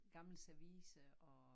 Gammel service og